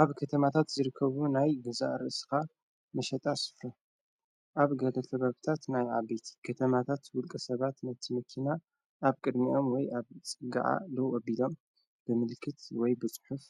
ኣብ ከተማታት ዝርከቡ ናይ ገዛእርእስኻ መሸጣ ስፍረ ኣብ ገደተ በብታት ናይ ኣበቲ ከተማታት ውልቀ ሰባት ነቲመኪና ኣብ ቅድሚዖም ወይ ኣብ ጽጋዓ ሎዉ ኣቢሎም ብምልክት ወይ በጭሑፍ